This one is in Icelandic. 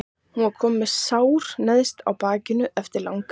Hún var komin með sár neðst á bakið eftir langar legur.